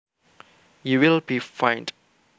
You will be fined